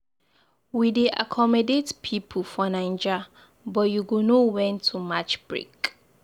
We dey accommodate pipu for Naija, but you go know wen to match break.